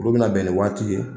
Olu bɛna bɛn nin waati ye